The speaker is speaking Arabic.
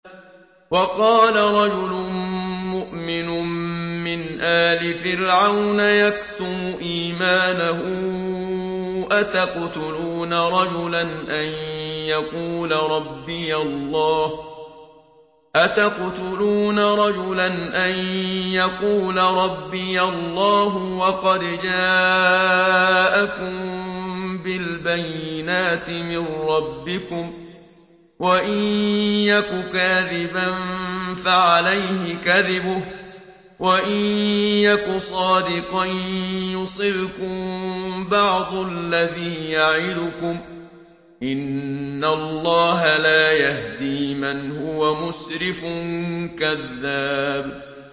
وَقَالَ رَجُلٌ مُّؤْمِنٌ مِّنْ آلِ فِرْعَوْنَ يَكْتُمُ إِيمَانَهُ أَتَقْتُلُونَ رَجُلًا أَن يَقُولَ رَبِّيَ اللَّهُ وَقَدْ جَاءَكُم بِالْبَيِّنَاتِ مِن رَّبِّكُمْ ۖ وَإِن يَكُ كَاذِبًا فَعَلَيْهِ كَذِبُهُ ۖ وَإِن يَكُ صَادِقًا يُصِبْكُم بَعْضُ الَّذِي يَعِدُكُمْ ۖ إِنَّ اللَّهَ لَا يَهْدِي مَنْ هُوَ مُسْرِفٌ كَذَّابٌ